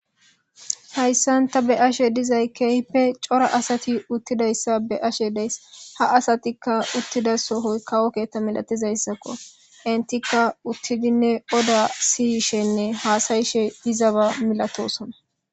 hayssanta be ashe dizay kehpe cora asati uttidayssa be ashe deys ha asatikka uttida sohoy kawokeetta milatizayssakko entikka uttidinne oda siyishenne haasayishe dizaba milatosona